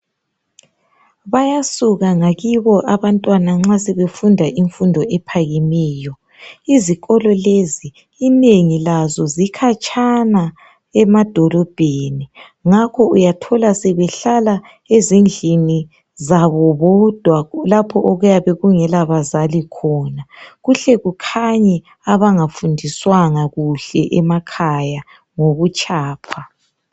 Bayasuka ngakibo abantwana nxa sebefunda imfundo ephakemeyo. Izikolo lezi inengi lazo zikhatshana emadolobheni. Ngakho uyathola sebehlala ezindlini zabo bodwa lapho okuyabe kungela bazali khona kuhle kukhanye abangafundiswanga kuhle emakhaya ngobutshapha.